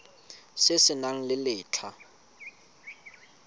se se nang le letlha